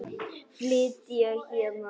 Flytja héðan.